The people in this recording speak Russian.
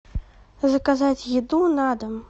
заказать еду на дом